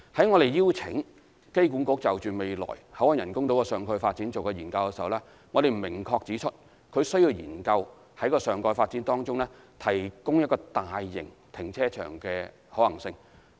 我們在邀請機管局就未來口岸人工島的上蓋發展進行研究時，亦有明確指出，它需要研究在上蓋發展中，提供一個大型停車場的可行性。